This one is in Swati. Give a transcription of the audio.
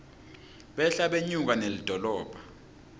behla benyuka nelidolobha